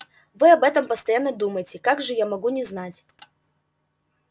вы об этом постоянно думаете как же я могу не знать